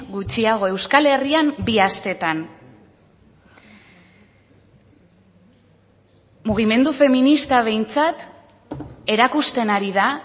gutxiago euskal herrian bi asteetan mugimendu feminista behintzat erakusten ari da